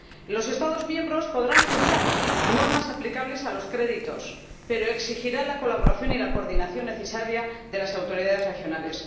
Los Estados miembros podrán fijar normas aplicables a los créditos, pero exigirán la colaboración y la coordinación necesarias de las autoridades regionales.